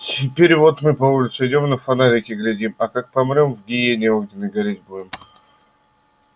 теперь вот мы по улице идём и на фонарики глядим а как помрём в гиене огненной гореть будем